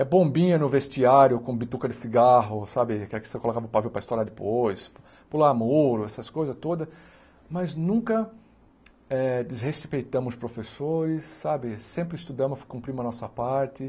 É bombinha no vestiário com bituca de cigarro, sabe, que é a que você colocava o pavio para estourar depois, pular muro, essas coisas todas, mas nunca eh desrespeitamos os professores, sabe, sempre estudamos, cumprimos a nossa parte.